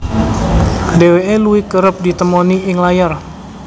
Dheweke luwih kereb ditemoni ing layar